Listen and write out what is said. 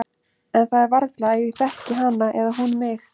En það er varla að ég þekki hana eða hún mig.